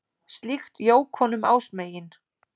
Slíkt jók honum ásmegin.